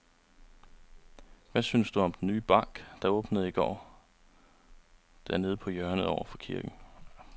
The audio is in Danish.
Hvad synes du om den nye bank, der åbnede i går dernede på hjørnet over for kirken?